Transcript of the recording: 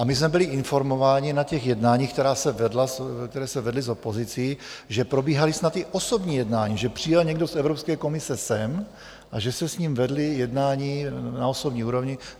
A my jsme byli informováni na těch jednáních, která se vedla s opozicí, že probíhala snad i osobní jednání, že přijel někdo z Evropské komise sem a že se s ním vedla jednání na osobní úrovni.